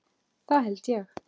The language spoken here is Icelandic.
Það held ég